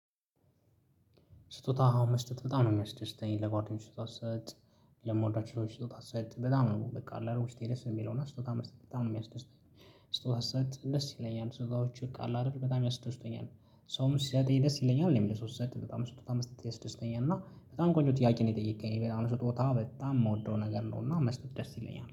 ስጦታ አሁን መስጠት በጣም ነው የሚያስደስተኝ ለጓደኞች ስጦታ ስሰጥ ለምወዳቸው ሰዎች ስጦታ ስሰጥ በጣም ነው በቃ አለ አይደል ውስጤ ደስ የሚለውና ስጦታ መስጠት በጣም ነው የሚያስደስተኝ። ስቶታም ስሰጥ ደስ ይለኛል ስጦታዎች በቃ አለ አይደል በጣም ያስደስቱኛል ሰውም ሲሰጠኝ ደስ ይለኛል እኔም ለሰው ስሰጥ በጣም ስጦታ መስጠት ያስደስተኛል። እና በጣም ቆንጆ ጥያቄ ነው የጠየቅከኝ ስጦታ ደስ ይለኛል